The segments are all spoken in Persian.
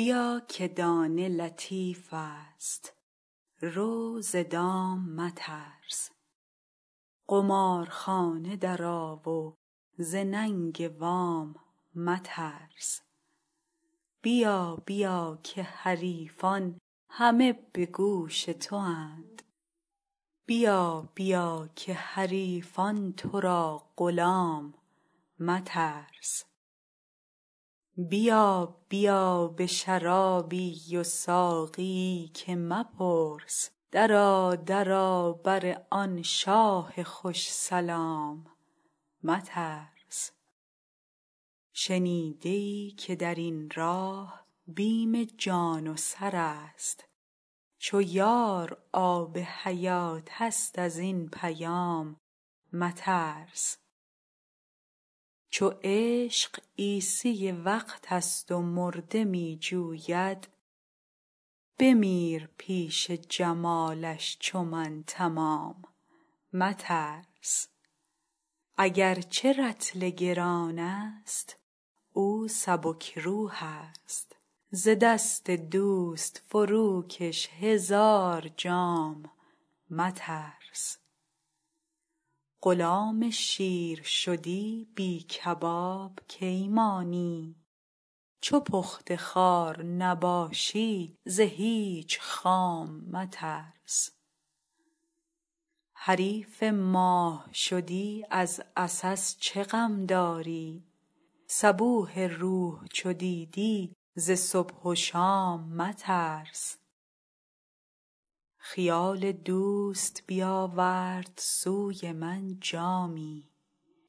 بیا که دانه لطیفست رو ز دام مترس قمارخانه درآ و ز ننگ وام مترس بیا بیا که حریفان همه به گوش تواند بیا بیا که حریفان تو را غلام مترس بیا بیا به شرابی و ساقیی که مپرس درآ درآ بر آن شاه خوش سلام مترس شنیده ای که در این راه بیم جان و سر است چو یار آب حیاتست از این پیام مترس چو عشق عیسی وقتست و مرده می جوید بمیر پیش جمالش چو من تمام مترس اگر چه رطل گرانست او سبک روحست ز دست دوست فروکش هزار جام مترس غلام شیر شدی بی کباب کی مانی چو پخته خوار نباشی ز هیچ خام مترس حریف ماه شدی از عسس چه غم داری صبوح روح چو دیدی ز صبح و شام مترس خیال دوست بیاورد سوی من جامی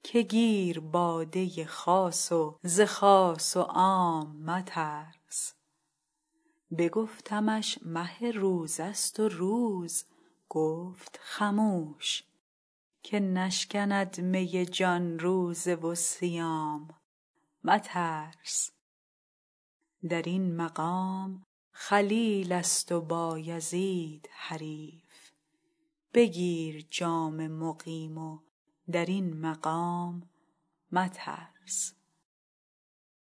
که گیر باده خاص و ز خاص و عام مترس بگفتمش مه روزه ست و روز گفت خموش که نشکند می جان روزه و صیام مترس در این مقام خلیلست و بایزید حریف بگیر جام مقیم و در این مقام مترس